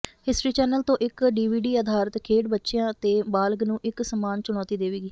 history Channel ਤੋਂ ਇੱਕ DVD ਅਧਾਰਿਤ ਖੇਡ ਬੱਚਿਆਂ ਅਤੇ ਬਾਲਗ਼ ਨੂੰ ਇਕ ਸਮਾਨ ਚੁਣੌਤੀ ਦੇਵੇਗੀ